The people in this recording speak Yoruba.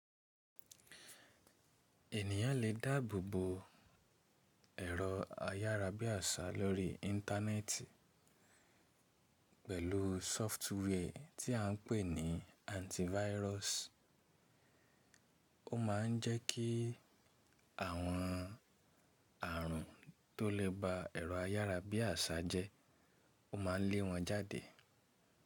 Ènìyàn lè dáàbò bo ẹ̀rọ ayárabíàṣá lórí Íńtánẹ́ẹ̀tì pẹ̀lú software ti à n pè ní antivirus Ó ma n jẹ́ kí àwọn ààrùn tó lè ba ẹ̀rọ ayárabíàṣá jẹ́, ó maa n lè wọ́n jáde.